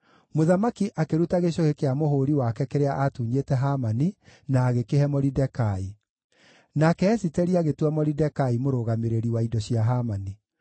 Mũthamaki akĩruta gĩcũhĩ kĩa mũhũũri wake kĩrĩa aatunyĩte Hamani, na agĩkĩhe Moridekai. Nake Esiteri agĩtua Moridekai mũrũgamĩrĩri wa indo cia Hamani.